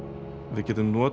við getum notað